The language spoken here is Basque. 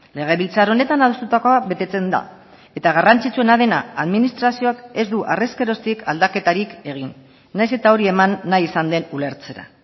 legebiltzar honetan adostutakoa betetzen da eta garrantzitsuena dena administrazioak ez du harrezkeroztik aldaketarik egin nahiz eta hori eman nahi izan den ulertzera